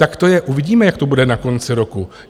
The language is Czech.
Tak to je, uvidíme, jak to bude na konci roku.